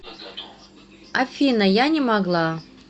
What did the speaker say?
афина я не могла